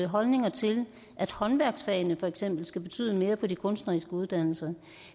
holdninger til at håndværksfagene for eksempel skal betyde mere på de kunstneriske uddannelser